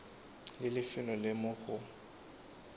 le lefelo le mo go